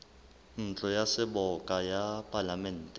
ntlo ya seboka ya palamente